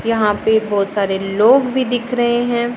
यहां पे बहोत सारे लोग भी दिख रहे हैं।